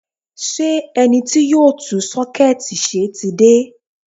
Ṣé ẹni tí yóò tún sọ́kẹ́ẹ̀tì ṣe ti dé?